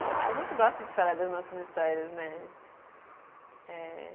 A gente gosta de falar das nossas histórias, né? É